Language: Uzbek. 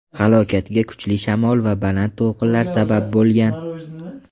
Halokatga kuchli shamol va baland to‘lqinlar sabab bo‘lgan.